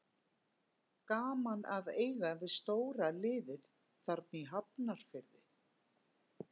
Gaman að eiga við stóra liðið þarna í Hafnarfirði.